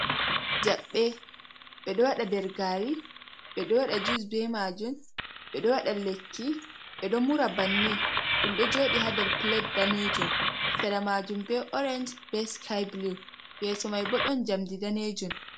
Jabbe ɓeɗo waɗa nder gaari, ɓeɗo waɗa jus ɓe maajum, ɓe ɗo waɗa lekki ɓe ɗon mura bannin ɗum ɗo jooɗii haa nder pilat daneejum sera maajum ɓo orensh be sikai bulu yeeso mai bo ɗon jamdi daneejum.